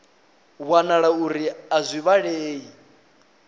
wanala uri a zwi vhilei